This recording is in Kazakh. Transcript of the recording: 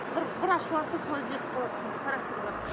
бір бір ашуланса солай нетіп қалады характері бар